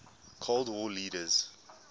cold war leaders